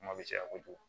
Kuma bɛ caya kojugu